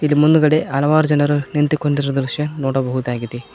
ಇಲ್ಲಿ ಮುಂದ್ಗಡೆ ಹಲವಾರು ಜನರು ನಿಂತುಕೊಂಡಿರುವ ದೃಶ್ಯ ನೋಡಬಹುದಾಗಿದೆ.